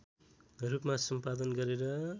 रूपमा सम्पादन गरेर